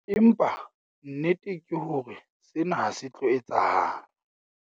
Empa, nnete ke hore sena ha se tlo etsahala.